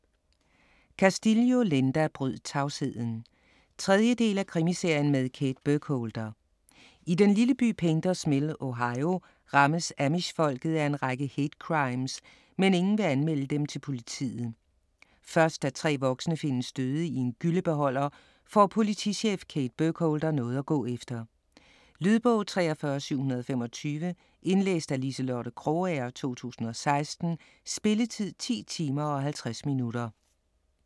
Castillo, Linda: Bryd tavsheden 3. del af Krimiserien med Kate Burkholder. I den lille by Painters Mill, Ohio, rammes amish-folket af en række hate-crimes, men ingen vil anmelde dem til politiet. Først da 3 voksne findes døde i en gyllebeholder får politichef Kate Burkholder noget at gå efter. Lydbog 43725 Indlæst af Liselotte Krogager, 2016. Spilletid: 10 timer, 50 minutter.